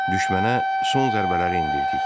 Düşmənə son zərbələri endirdik.